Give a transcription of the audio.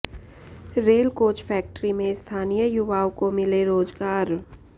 rail coach factory में स्थानीय युवाओं को मिले रोजगार